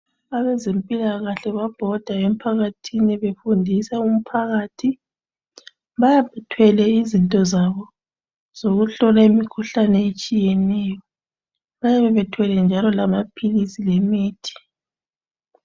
Abezempilakahle babhoda empakathini befundisa umphakathi, bayabe bethwele izinto zabo zokuhlola imikhuhlane etshiyeneyo. Bayabe bethwele njalo lamaphilisi lemithi.